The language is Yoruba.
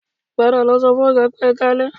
Padà lọ sọ fún Ọ̀gá pé "Ẹ káalẹ́"